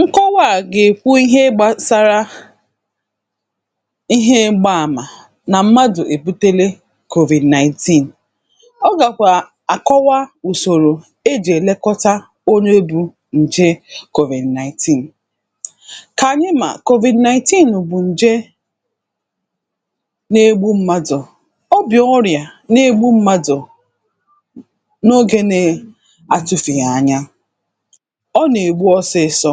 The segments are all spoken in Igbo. Nkọwa à gèkwu ihe gbasara ihe m̀gba àmà nà mmadụ̀ èbutele COVID-19, ọ gàkwà àkọwa ùsòrò ejì èlekota onye bū ǹje COVID-19. Kànyị mà COVID-19 bụ̀ ǹje negbu m̀madụ̀, ọ bụ̀ ọrịà ǹke negbu m̀madụ̀ n’ogē nè-atụfèghì anya, ọ nègbu ọsịsọ,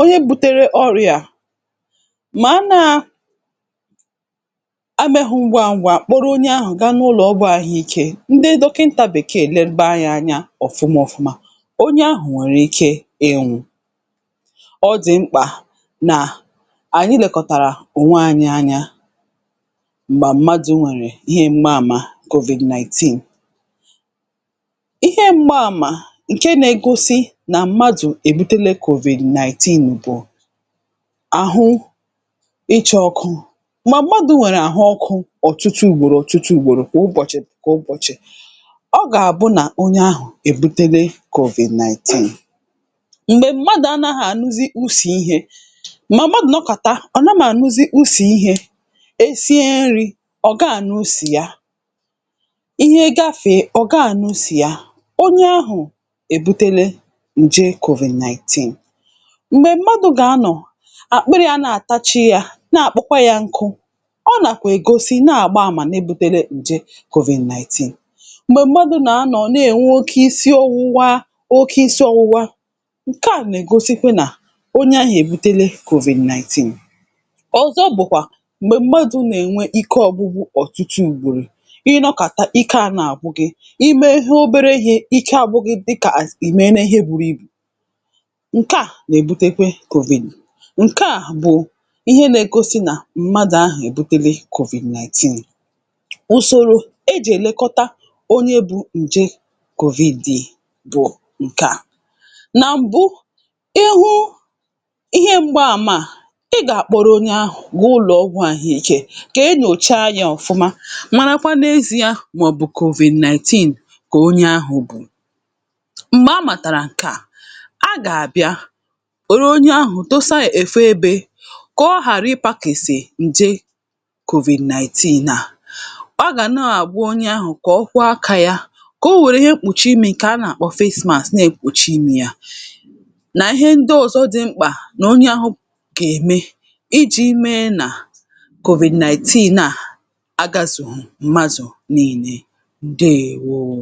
onye butere ọrịà màanaa emēghū ngwa ngwa kpọrọ onye ahụ̀ ga n’ụlọ̄ ọgwụ̄ àhụikē ndị dọkịntà bèkee legba yā anya ọ̀fuma ọ̀fụma onye ahụ̀ nwèrè ike ịnwụ̄. Ọ dị̀ mkpà nà ànyị lèkọ̀tàrà ònwanyị̄ anya m̀gbà mmadụ̀ nwèrè ihe m̀ma àmà COVID-19. Ihe m̀kpa àmà ǹke nēgosi nà mmadụ̀ èbutele COVID-19 bụ̀ àhụ ịchā ọkụ m̀gbà mmadụ̄ nwèrè àhụ ọkụ̄ ọ̀tụtụ ùgbòrò ọ̀tụtụ ùgbòrò kwà ụbọ̀chị̀ kwà ụbọ̀chị̀, ọ gàbụ nà onye ahụ̀ èbutele COVID-19, M̀gbè mmadụ̀ anāghā ànụzi̇ usì ihē, mọ̀ mmadụ̀ nọkàta ọ̀ naghā ànụzị usì ihē e sie nrī ọ̀ gaà ànụ isì ya, ihe gafèe ọ̀ gaā ànụ isì ya onye ahụ̀ èbutele ǹje COVID-19. M̀gbè mmadụ̄ gà-anọ̀ àkparị̄ à na-àtachi yā na àkpọkwa yā nkụ, ọ nàkwà ègosi na-àgba àmà ne-èbutele ǹje COVID-19. M̀gbè mmadụ̀ nà-anọ̀ ne ènwe isi ọ̀wụwa oke isi ọ̀wụwa ǹke à nègosikwa nà onyahụ̀ èbutele COVID-19. Òzọ bụ̀kwà m̀gbè mmadụ̄ nènwe ike ọ̀gwụgwụ òtụtụ ùgbòrò, ị nọkàta ike à na-àgwụ gī, ime he obere ihē ike àgwụ gị̄ kè ìmele ihe buru ibù, ǹke à nèbutekwe COVID, ǹke à bụ̀ ihe nēgosi nà mmadụ̀ ahụ̀ èbutele COVID-19. Ùsòrò ejì èlekọta onye bū ǹje COVIDI bụ̀ ǹke à, nà m̀bụ ịhụ ihe m̀gba àmà ị gàkpọrọ onye ahụ̀ gaa ụlọ̄ ọgwụ̄ àhụikē kè enyòcha yā ọ̀fụma marakwa n’eziē mọ̀bù COVID-19 kà onye ahụ̄ bụ̀ m̀gbè amàtàrà ǹke à a gàbịa woro ahụ ahụ̀ desa òfu ebē kà ọ ghàrị ịpākèsè ǹje COVID-19 naà. Ọ gà nā-àkwa onye ahụ̀ kà ọ kwa akā yā, kò o wère ihe mkpùchi imī a nàkpọ face mask nekpùchi imī yā nà ihe ndị ọ̀zọ dị mkpà nà onye ahụ̄ gème ijī mee nà COVID-19 naà agāzùghù mmadụ̀ niīle. Ǹdeèwoo